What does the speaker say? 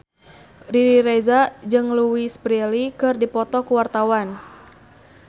Riri Reza jeung Louise Brealey keur dipoto ku wartawan